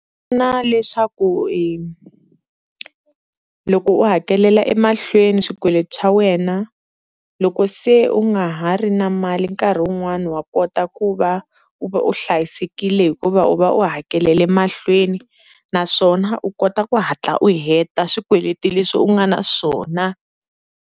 Pfuna leswaku i loko u hakelela emahlweni swikweleti swa wena loko se u nga ha ri na mali nkarhi wun'wani wa kota ku va u va u hlayisekile hikuva u va u hakeleli mahlweni, naswona u kota ku hatla u heta swikweleti leswi u nga na swona.